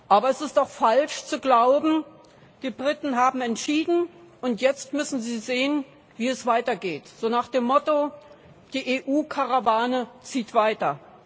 Aber es ist auch falsch zu glauben, die Briten haben entschieden, und jetzt müssen sie sehen, wie es weitergeht, so nach dem Motto Die EU Karawane zieht weiter.